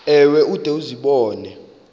ewe ude uzibone